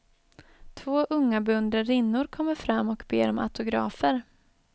Två unga beundrarinnor kommer fram och ber om autografer.